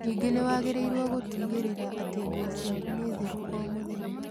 Ningĩ nĩ wagĩrĩirũo gũtigĩrĩra atĩ nguo ciaku nĩ theru o mũthenya.